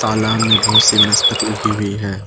में बहुत सी वनस्पति उगी हुई है।